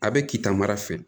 A bɛ kitaamara fɛ